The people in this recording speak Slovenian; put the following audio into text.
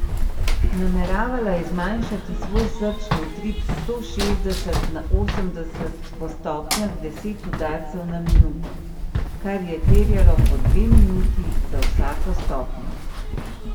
Nameravala je zmanjšati svoj srčni utrip s sto šestdeset na osemdeset po stopnjah deset udarcev na minuto, kar je terjalo po dve minuti za vsako stopnjo.